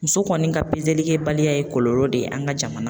Muso kɔni ka pezelikɛbaliya ye kɔlɔlɔ de ye an ka jamana